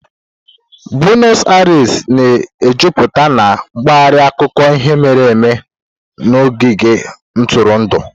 Bueno Airis na-ejupụta na mpaghara akụkọ ihe mere eme na ogige ntụrụndụ.